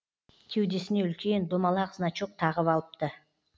кеудесіне үлкен домалақ значок тағып алыпты